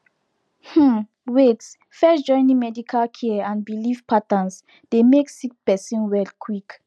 um wait first joining medical care and believe patterns dey make sick person well quick